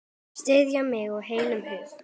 Styðja mig af heilum hug?